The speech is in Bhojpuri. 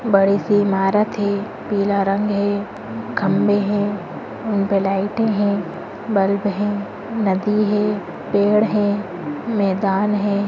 बड़ी सी इमारत है। पीला रंग है। खम्बे हैं। उनपे लाइटें हैं। बल्ब हैं। नदी है। पेड़ हैं। मैदान है।